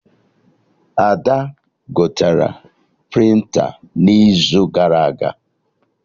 Ada gotere prịnta n'izu gara aga